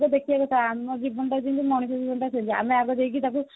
ଦେଖିବାକୁ ତାହା ଆମ ଜୀବନ ଟା ଯେମିତି ମଣିଷ ଜୀବନଟା ସେମିତି ଆମେ ଆଗେ ଯାଇକି ତାକୁ